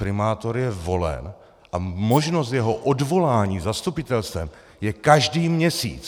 Primátor je volen a možnost jeho odvolání zastupitelstvem je každý měsíc.